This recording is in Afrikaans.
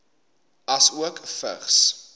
asook vigs